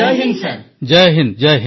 ସମସ୍ତ NCC cadet Jai Hind sir